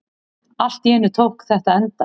Allt í einu tók þetta enda.